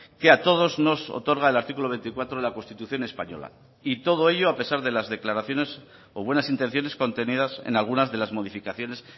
que a todos nos otorga el artículo veinticuatro de la constitución española y todo ello a pesar de las declaraciones o buenas intenciones contenidas en algunas de las modificaciones